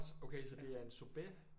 Okay så det er en sorbet